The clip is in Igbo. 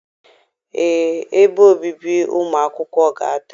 Ee, ebe obibi ụmụ akwụkwọ ga-ada.